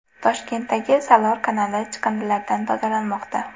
Toshkentdagi Salor kanali chiqindilardan tozalanmoqda .